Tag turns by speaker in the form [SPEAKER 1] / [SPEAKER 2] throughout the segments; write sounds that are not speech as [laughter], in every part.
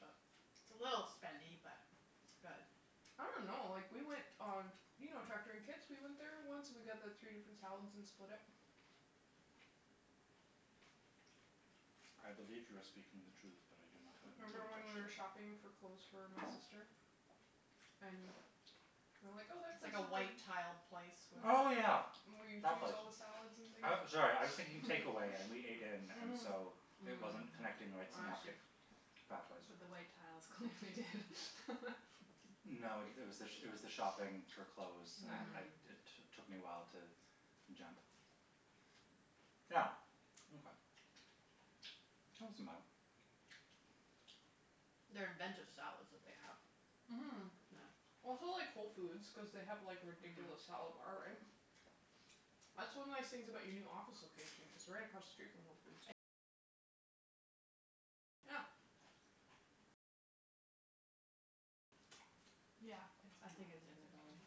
[SPEAKER 1] but It's a little spendy, but it's good.
[SPEAKER 2] [noise] I don't know. Like, we went on t- You know Tractor in Kits? We went there once and we got the three different salads and split it.
[SPEAKER 3] I believe you are speaking the truth, but I do not have a
[SPEAKER 2] [noise] Remember when we
[SPEAKER 3] memory
[SPEAKER 2] were
[SPEAKER 3] attached to it.
[SPEAKER 2] shopping for clothes for my sister? And we were like, "Oh, that
[SPEAKER 1] It's
[SPEAKER 2] place
[SPEAKER 1] like a
[SPEAKER 2] looks like"
[SPEAKER 1] white-tiled
[SPEAKER 3] [noise]
[SPEAKER 1] place
[SPEAKER 2] We
[SPEAKER 1] with
[SPEAKER 3] Oh
[SPEAKER 2] went
[SPEAKER 3] yeah,
[SPEAKER 2] Where you
[SPEAKER 3] that
[SPEAKER 2] choose
[SPEAKER 3] place.
[SPEAKER 2] all the salads and things.
[SPEAKER 3] I, sorry, I was thinking takeaway and we ate in and
[SPEAKER 2] Mhm.
[SPEAKER 3] so it wasn't connecting the right
[SPEAKER 2] I see.
[SPEAKER 3] synaptic pathways.
[SPEAKER 4] But the white tiles clearly did.
[SPEAKER 3] No, it was the, it was the shopping
[SPEAKER 4] [laughs]
[SPEAKER 3] for clothes. I, I, it t- took me a while to jump. Yeah, okay. That wasn't bad.
[SPEAKER 1] They're inventive salads that they have.
[SPEAKER 2] Mhm.
[SPEAKER 1] Yeah.
[SPEAKER 2] That's why I like Whole Foods cuz they have like a ridiculous salad bar, right? That's one of the nice things about your new office location, it's right across the street from Whole Foods. Yeah.
[SPEAKER 4] Yeah, I think it's in the building, yeah.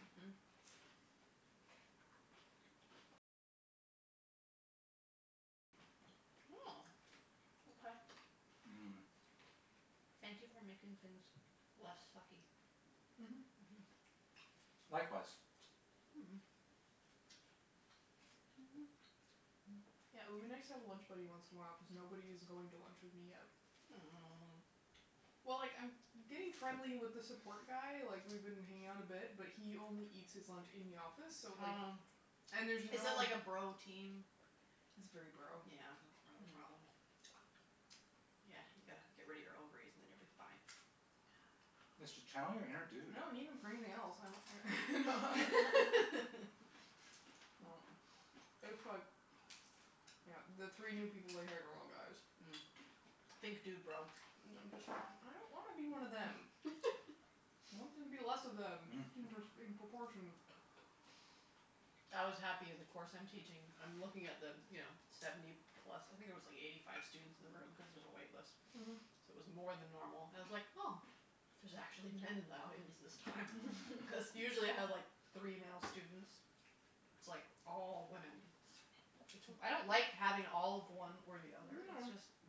[SPEAKER 1] Mhm. Oh, okay.
[SPEAKER 3] Mhm. Thank you for making things less sucky.
[SPEAKER 1] Mhm, Mhm.
[SPEAKER 3] Likewise.
[SPEAKER 2] Yeah, it would be nice to have a lunch buddy once in a while cuz nobody is going to lunch with me yet.
[SPEAKER 1] Oh.
[SPEAKER 2] Well, like, I'm getting friendly with the support guy, like, we've been hanging out a bit, but he only eats his lunch in the office so, like.
[SPEAKER 1] Oh.
[SPEAKER 2] And there's no.
[SPEAKER 1] Is it like a bro team?
[SPEAKER 2] It's very bro. That's part
[SPEAKER 1] Yeah.
[SPEAKER 2] of the problem.
[SPEAKER 1] Yeah, you gotta get rid of your ovaries and then you'll be fine.
[SPEAKER 3] Just tell them you're a dude.
[SPEAKER 2] I don't need them for anything else. [laughs] No, it's like. [noise] Yeah. the three new people they hired are all guys.
[SPEAKER 1] Mm. Think dudebro.
[SPEAKER 2] And I'm just, like, I don't wanna be one of them. I want there to be less of them in in proportion.
[SPEAKER 1] I was happy. The course I'm teaching, I'm looking at the, you know, seventy plus. I think there was like eighty five students in the room cuz there's a wait list, so
[SPEAKER 2] Mhm.
[SPEAKER 1] it was more than normal. I was like oh, there's actually men in the audience this time. Because usually I have like three male students, it's like all women. I don't like having all of one or the other. It's just.
[SPEAKER 2] No.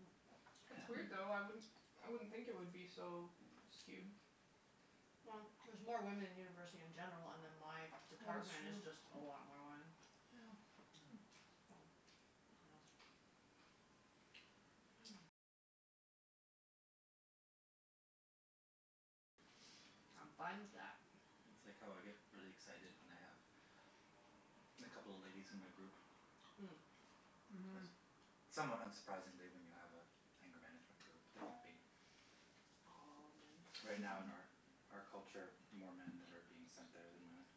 [SPEAKER 1] It's
[SPEAKER 2] It's weird,
[SPEAKER 1] weird, though.
[SPEAKER 2] though. I wouldn't I wouldn't think it would be so skewed.
[SPEAKER 1] Well, there's more women in university in general, and then my department is just a lot more women.
[SPEAKER 2] Yeah. I'm fine with that.
[SPEAKER 3] It's like how I get really excited when I have a couple of ladies in my group. Cuz
[SPEAKER 2] Mhm.
[SPEAKER 3] somewhat unsurprisingly when you have an anger management group, there would be.
[SPEAKER 2] All men.
[SPEAKER 3] Right now in our out culture, more men that are being sent there than women.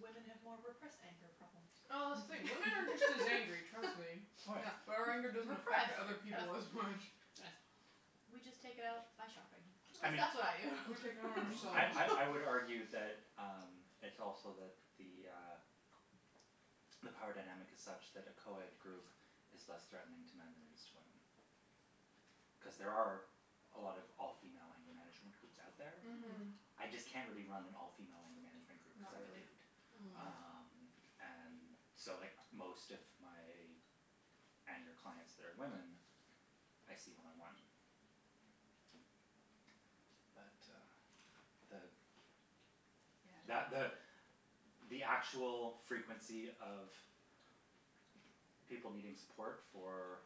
[SPEAKER 1] Women have more repressed anger problems.
[SPEAKER 2] Oh, wait, women are just as angry, trust me. Yeah, but our anger doesn't affect
[SPEAKER 1] Repressed,
[SPEAKER 2] other people as much.
[SPEAKER 1] yes. We just take it out by shopping, at least that's what I do.
[SPEAKER 2] We take it out on
[SPEAKER 3] I I I would
[SPEAKER 2] ourselves.
[SPEAKER 3] argue that um it's also that the uh the power dynamic is such that a co-ed group is less threatening to men than it is to women. Cuz there are a lot of all female anger management groups out there.
[SPEAKER 2] Mhm.
[SPEAKER 3] I just can't really run an all female anger management group cuz I'm a dude.
[SPEAKER 2] Oh.
[SPEAKER 3] Um, and so, like, most of my anger clients that are women, I see one on one. But uh the. That
[SPEAKER 1] Yeah.
[SPEAKER 3] the the actual frequency of people needing support for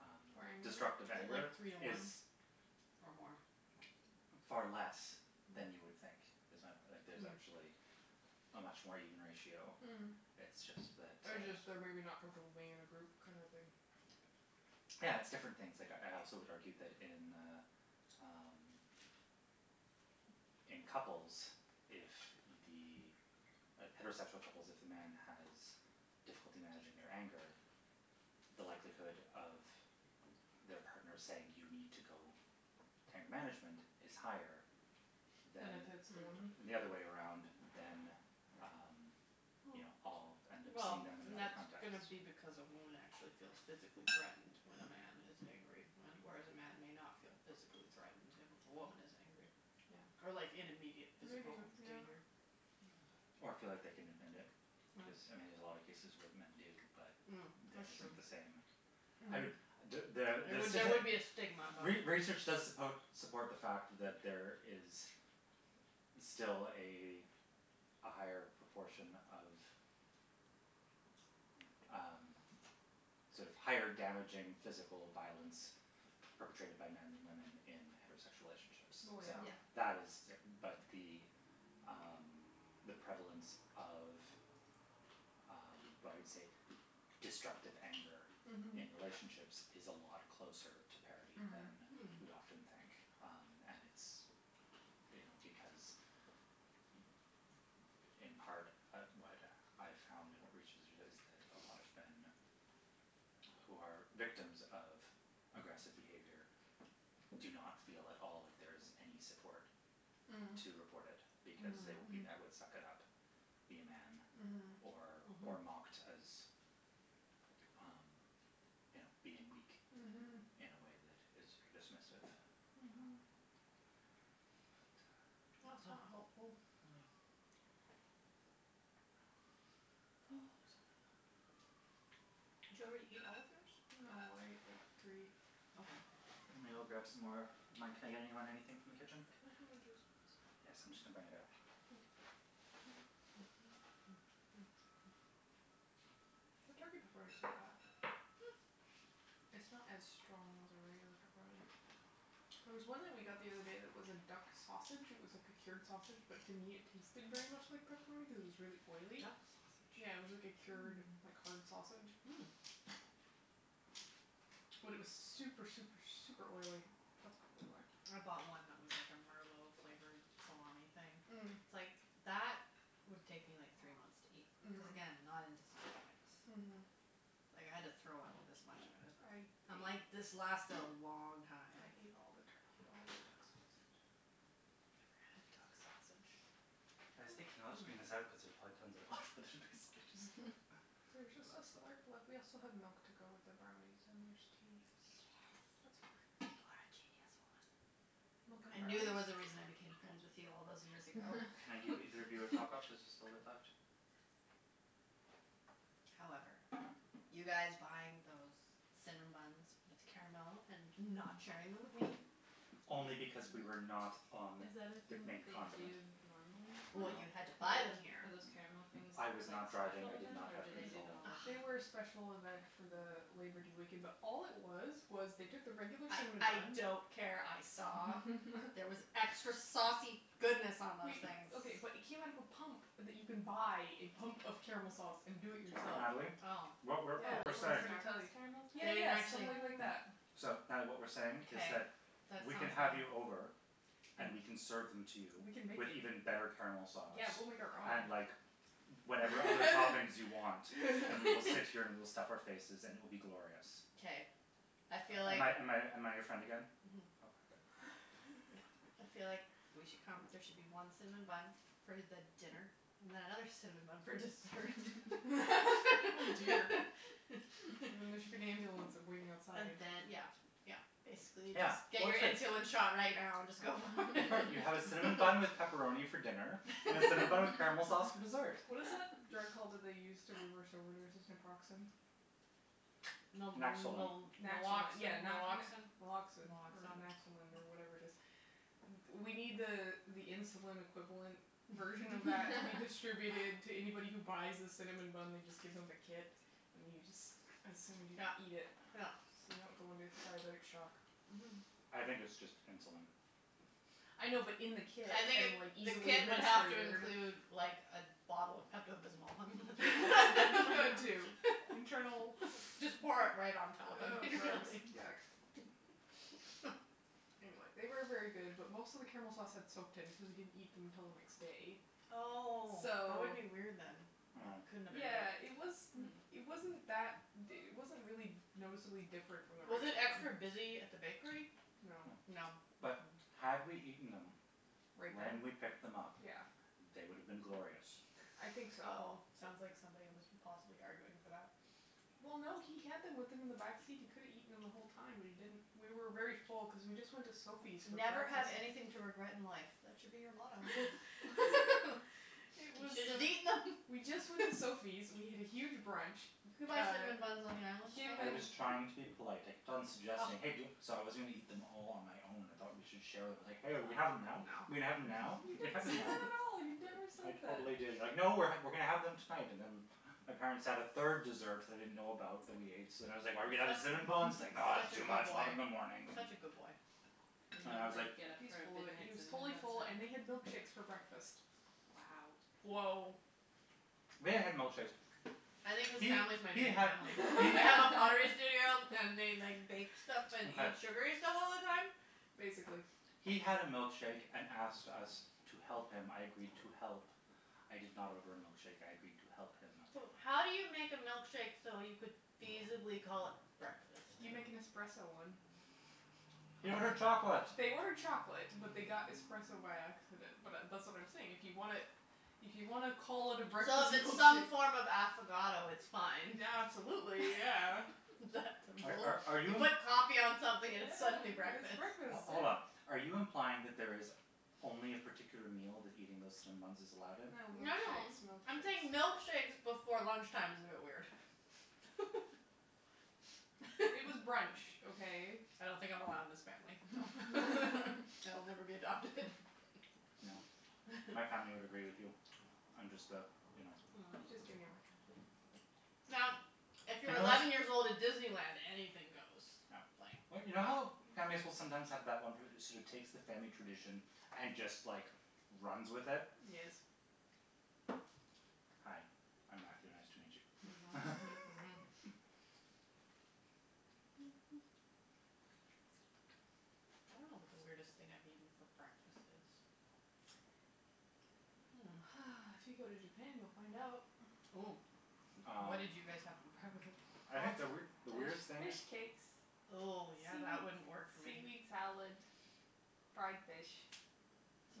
[SPEAKER 3] um
[SPEAKER 2] For anger?
[SPEAKER 1] Is
[SPEAKER 3] destructive
[SPEAKER 1] it
[SPEAKER 3] anger
[SPEAKER 1] like three to
[SPEAKER 3] is.
[SPEAKER 1] one or more?
[SPEAKER 3] Far less than you would think. Is my point, like there's actually a much more even ratio.
[SPEAKER 2] Mm.
[SPEAKER 3] It's just that
[SPEAKER 2] Or
[SPEAKER 3] uh.
[SPEAKER 2] just they're maybe not comfortable being in a group kind of thing.
[SPEAKER 3] Yeah, it's different things. Like, I also would argue that in uh um in couples, if the heterosexual couples, if the man has difficulty managing their anger, the likelihood of their partner saying, "You need to go to anger management," is higher
[SPEAKER 2] Than if
[SPEAKER 3] than.
[SPEAKER 2] it's the woman?
[SPEAKER 3] The other way around than um, you know, I'll end up
[SPEAKER 1] Well,
[SPEAKER 3] seeing them in
[SPEAKER 1] and
[SPEAKER 3] that
[SPEAKER 1] that's
[SPEAKER 3] context.
[SPEAKER 1] going to be because a woman actually feels physically threatened when a man is angry, whereas a man may not feel physically threatened if a woman is angry.
[SPEAKER 2] Yeah.
[SPEAKER 1] Or like in immediate
[SPEAKER 2] Maybe,
[SPEAKER 1] physical
[SPEAKER 2] yeah.
[SPEAKER 1] danger.
[SPEAKER 3] Or feel like they can admit it cuz, I mean, there's a lot of cases where men do, but that isn't the same.
[SPEAKER 2] No.
[SPEAKER 3] I mean.
[SPEAKER 1] There there would be a stigma involved.
[SPEAKER 3] Re research does suppo support the fact that there is still a a higher proportion of um sort of higher damaging physical violence perpetrated my men than women in heterosexual relationships. So
[SPEAKER 2] Well, yeah.
[SPEAKER 3] that is but the um the prevalence of um what I would say destructive anger in relationships is a lot closer to parity than
[SPEAKER 2] Mhm.
[SPEAKER 3] we often think.
[SPEAKER 2] Mm.
[SPEAKER 3] And it's, you know, because in part, what I found in research is that a lot of men who are victims of aggressive behavior do not feel at all like there is any support to report it because they will be met with "suck it up", "be a man" or or mocked as um you know being weak in a way that is very dismissive.
[SPEAKER 2] Mhm.
[SPEAKER 3] But uh.
[SPEAKER 2] That's not helpful. Oh, I'm so full.
[SPEAKER 1] Did you already eat all of yours?
[SPEAKER 2] No, I ate like three.
[SPEAKER 1] Okay.
[SPEAKER 3] I'm going to go grab some more of mine. Can I get anybody anything from the
[SPEAKER 2] Can
[SPEAKER 3] kitchen?
[SPEAKER 2] I have more juice, please?
[SPEAKER 3] Yes, I'm just going to bring it out.
[SPEAKER 2] Thank you. The turkey pepperoni's not bad.
[SPEAKER 1] Mm.
[SPEAKER 2] It's not as strong as a regular pepperoni. There was one that we got the other day that was a duck sausage, it was like a cured sausage, but to me it tasted very much like pepperoni cuz it was really oily.
[SPEAKER 1] Duck
[SPEAKER 2] Yeah, it was
[SPEAKER 1] sausage?
[SPEAKER 2] like a cured
[SPEAKER 4] Mm.
[SPEAKER 2] like hard sausage.
[SPEAKER 1] Mm.
[SPEAKER 2] But it was super, super, super oily. That's probably why.
[SPEAKER 1] I bought one that was like a merlot flavored salami thing.
[SPEAKER 2] Mm.
[SPEAKER 1] It's like that would take me like three months to eat cuz again, not into salty things.
[SPEAKER 2] Mm.
[SPEAKER 1] Like, I had to throw out this much of it. I'm
[SPEAKER 2] I
[SPEAKER 1] like
[SPEAKER 2] ate.
[SPEAKER 1] this lasted a long time.
[SPEAKER 2] I ate all the turkey, all the duck sausage.
[SPEAKER 4] I never had duck sausage.
[SPEAKER 3] I was thinking I'll just bring this out cuz there's probably tons of it left, but there's basically
[SPEAKER 2] There's
[SPEAKER 3] just a
[SPEAKER 2] just a
[SPEAKER 3] glass left.
[SPEAKER 2] slurp left. We also have milk to go with the brownies, and there's tea. That's
[SPEAKER 1] Yes.
[SPEAKER 2] fine.
[SPEAKER 1] You are a genius, woman.
[SPEAKER 2] Mocha and
[SPEAKER 1] I knew there
[SPEAKER 2] brownies.
[SPEAKER 1] was a reason I became friends with you all those years ago.
[SPEAKER 3] Can I give either of you a top up? There's just a bit left.
[SPEAKER 1] However, you guys buying those cinnamon buns with caramel and not sharing them with me.
[SPEAKER 3] Only because we were not on
[SPEAKER 4] Is that a
[SPEAKER 3] the
[SPEAKER 4] thing that
[SPEAKER 3] main
[SPEAKER 4] they do
[SPEAKER 3] continent.
[SPEAKER 4] normally?
[SPEAKER 1] Well, you had to
[SPEAKER 4] Like,
[SPEAKER 1] buy them
[SPEAKER 4] are
[SPEAKER 1] here.
[SPEAKER 4] those caramel things
[SPEAKER 3] I
[SPEAKER 4] like a
[SPEAKER 3] was not driving.
[SPEAKER 4] special
[SPEAKER 3] I did
[SPEAKER 4] event
[SPEAKER 3] not
[SPEAKER 4] or
[SPEAKER 3] have
[SPEAKER 4] do they do them
[SPEAKER 3] control.
[SPEAKER 4] all the
[SPEAKER 2] They were a
[SPEAKER 4] time?
[SPEAKER 2] special event for the Labour Day weekend, but all it was was they took the regular cinnamon
[SPEAKER 1] I
[SPEAKER 2] buns.
[SPEAKER 1] don't care, I saw. There was extra saucy goodness on those
[SPEAKER 2] Wait,
[SPEAKER 1] things.
[SPEAKER 2] okay, but it came out of a pump that you can buy, a pump of caramel sauce, and do it yourself.
[SPEAKER 3] Natalie,
[SPEAKER 1] Oh,
[SPEAKER 3] what we're
[SPEAKER 4] Oh,
[SPEAKER 3] what we're
[SPEAKER 4] like
[SPEAKER 3] saying.
[SPEAKER 1] really?
[SPEAKER 4] Starbucks caramel
[SPEAKER 2] Yeah,
[SPEAKER 4] style?
[SPEAKER 1] They didn't
[SPEAKER 2] yeah, just
[SPEAKER 1] actually.
[SPEAKER 2] like that.
[SPEAKER 3] So, Natalie, what we're saying is
[SPEAKER 1] Okay,
[SPEAKER 3] that
[SPEAKER 1] that sounds
[SPEAKER 3] we can have you
[SPEAKER 1] right.
[SPEAKER 3] over. And we can serve them to you.
[SPEAKER 2] We can make
[SPEAKER 3] With
[SPEAKER 2] them.
[SPEAKER 3] even better caramel sauce.
[SPEAKER 2] Yeah, we'll make our
[SPEAKER 3] And
[SPEAKER 2] own.
[SPEAKER 3] like whatever other toppings you want and we will sit here and we'll stuff our faces and it will be glorious.
[SPEAKER 1] Okay, I feel
[SPEAKER 3] Am
[SPEAKER 1] like.
[SPEAKER 3] I am I am I your friend again?
[SPEAKER 1] Mhm.
[SPEAKER 3] Okay, good.
[SPEAKER 1] I feel like we should come, there should be one cinnamon bun for the dinner and then another cinnamon bun for dessert. [laughs]
[SPEAKER 2] Oh dear. There should be an ambulance waiting outside.
[SPEAKER 1] And then, yeah, yeah, basically
[SPEAKER 3] Yeah,
[SPEAKER 1] just. Get
[SPEAKER 3] well,
[SPEAKER 1] your
[SPEAKER 3] it's good.
[SPEAKER 1] insulin shot right now and just go for it.
[SPEAKER 3] You have a cinnamon bun with pepperoni for dinner and a cinnamon bun with caramel sauce for dessert.
[SPEAKER 2] What is the drug called that they use to reverse overdoses? Naproxen?
[SPEAKER 3] Naxolone.
[SPEAKER 2] Naxalone, yeah. yeah,
[SPEAKER 1] Naloxin, Naloxin.
[SPEAKER 2] Naloxin or Naxolin or whatever it is. We need the uh the insulin equivalent version of that to be distributed to anybody who buys the cinnamon bun. They just give them the kit and you just assume you
[SPEAKER 1] Yeah,
[SPEAKER 2] eat it.
[SPEAKER 1] yeah.
[SPEAKER 2] So you don't go into diabetic shock.
[SPEAKER 1] Mhm.
[SPEAKER 3] I think it's just insulin.
[SPEAKER 2] I know, but in the kit
[SPEAKER 1] I think
[SPEAKER 2] and, like,
[SPEAKER 1] the
[SPEAKER 2] easily
[SPEAKER 1] kit would have to
[SPEAKER 2] administered.
[SPEAKER 1] include like a bottle of Pepto Bismol.
[SPEAKER 2] [laughs] Too. Internal.
[SPEAKER 1] Just pour it right on top.
[SPEAKER 2] Oh, gross, yuck. Anyway, they were very good, but most of the caramel sauce had soaked in cuz we didn't eat them until the next day.
[SPEAKER 1] Oh, that would
[SPEAKER 2] So.Yeah,
[SPEAKER 1] be
[SPEAKER 2] it was.
[SPEAKER 1] weird then.
[SPEAKER 2] It wasn't that, it wasn't really noticeably different from the
[SPEAKER 1] Was
[SPEAKER 2] regular
[SPEAKER 1] it
[SPEAKER 2] one.
[SPEAKER 1] extra busy at the bakery?
[SPEAKER 2] No.
[SPEAKER 3] No, but had we eaten them.
[SPEAKER 1] Right
[SPEAKER 3] When
[SPEAKER 1] then?
[SPEAKER 3] we picked them up.
[SPEAKER 1] Yeah.
[SPEAKER 3] They would have been glorious.
[SPEAKER 2] I think so.
[SPEAKER 1] Oh, sounds like somebody was possibly arguing for that.
[SPEAKER 2] Well, no, he had them with him in the back seat. He could've eaten them the whole time, but he didn't. We were very full because we just went to Sophie's for
[SPEAKER 1] Never have
[SPEAKER 2] breakfast.
[SPEAKER 1] anything to regret in life, that should be your motto. [laughs] You should have just eaten them.
[SPEAKER 2] We just went to Sophie's. We had a huge brunch.
[SPEAKER 1] You can buy cinnamon buns on the island, can't
[SPEAKER 3] I
[SPEAKER 1] you?
[SPEAKER 3] was trying to be polite. I kept on suggesting hey do- So I was going to eat them all on my own. I thought we should share them. I was like, hey, are we going to have them now? Are we going to have them now?
[SPEAKER 2] You didn't say that at all. You never
[SPEAKER 3] I
[SPEAKER 2] said that.
[SPEAKER 3] totally did you were like, no, we're going to have them tonight. And then my parents had a third dessert that I didn't know about that we ate, so then I was like, are we going to have the cinnamon buns? It's
[SPEAKER 2] Such a
[SPEAKER 3] like, no, it's too
[SPEAKER 2] good
[SPEAKER 3] much, we'll have them in the
[SPEAKER 2] boy,
[SPEAKER 3] morning.
[SPEAKER 2] such a good boy.
[SPEAKER 4] You didn't get up
[SPEAKER 2] He's
[SPEAKER 4] for a
[SPEAKER 2] full of it. He
[SPEAKER 4] midnight
[SPEAKER 2] was totally
[SPEAKER 4] cinnamon
[SPEAKER 2] full,
[SPEAKER 4] bun
[SPEAKER 2] and we had
[SPEAKER 4] snack?
[SPEAKER 2] milkshakes for breakfast.
[SPEAKER 4] Wow.
[SPEAKER 1] Woah.
[SPEAKER 3] We had milkshakes.
[SPEAKER 1] I think his family's my new family. They have a pottery studio and they like bake stuff and eat sugary stuff all the time?
[SPEAKER 2] Basically.
[SPEAKER 3] He had a milkshake and asked us to help him, I agreed to help. I did not order a milkshake, I agreed to help him.
[SPEAKER 1] So, how do you make a milkshake so you could feasibly call it breakfast?
[SPEAKER 2] You make an espresso one.
[SPEAKER 3] He ordered chocolate.
[SPEAKER 2] They ordered chocolate, but they got espresso by accident. But that's what I'm saying. If you want to, if you want to call it a
[SPEAKER 1] So
[SPEAKER 2] breakfast
[SPEAKER 1] if it's some
[SPEAKER 2] milkshake.
[SPEAKER 1] form of affogato, it's fine.
[SPEAKER 2] Yeah, absolutely, yeah.
[SPEAKER 3] Are are
[SPEAKER 1] You
[SPEAKER 3] you?
[SPEAKER 1] put coffee on something and it's suddenly
[SPEAKER 2] Yeah, it's
[SPEAKER 1] breakfast.
[SPEAKER 2] breakfast,
[SPEAKER 3] Hold on,
[SPEAKER 2] yeah.
[SPEAKER 3] are you implying that there is only a particular meal that eating those cinnamon buns is allowed in?
[SPEAKER 2] No,
[SPEAKER 1] No, no,
[SPEAKER 2] milkshakes,
[SPEAKER 1] I'm saying
[SPEAKER 2] milkshakes.
[SPEAKER 1] milkshakes before lunch time is a bit weird. [laughs]
[SPEAKER 2] It was brunch, okay?
[SPEAKER 1] I don't think I'm allowed in this family. [laughs] So I'll never be adopted. [laughs]
[SPEAKER 3] No. My family would agree with you. I'm just the, you know.
[SPEAKER 2] I'm just giving you a hard time.
[SPEAKER 1] Now, if you're eleven years old at Disneyland, anything goes.
[SPEAKER 3] Yeah.
[SPEAKER 1] Like.
[SPEAKER 3] But you know how families will sometimes have that one person who sort of takes the family tradition and just, like, runs with it.
[SPEAKER 1] Yes.
[SPEAKER 3] Hi, I'm Matthew. Nice to meet you.
[SPEAKER 1] Mhm, Mhm, Mhm. I don't know what the weirdest thing I've eaten for breakfast is.
[SPEAKER 2] If you go to Japan, you'll find out.
[SPEAKER 1] Oh, what did you guys have for breakfast?
[SPEAKER 3] I think the weird the
[SPEAKER 2] There's
[SPEAKER 3] weirdest thing.
[SPEAKER 2] fish cakes.
[SPEAKER 1] Oh, yeah, that wouldn't
[SPEAKER 2] Seaweed
[SPEAKER 1] work for
[SPEAKER 2] seaweed
[SPEAKER 1] me.
[SPEAKER 2] salad, fried fish,